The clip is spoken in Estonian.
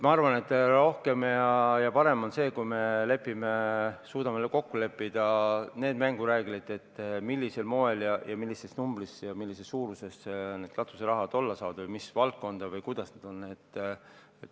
Ma arvan, et parem on see, kui me suudame kokku leppida need mängureeglid, millisel moel, millises numbris ja millises suuruses või mis valdkonnas see katuseraha olla saab.